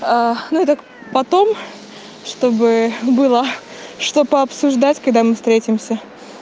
а ну так потом чтобы было что пообсуждать когда мы встретимся